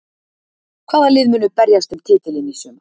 Hvaða lið munu berjast um titilinn í sumar?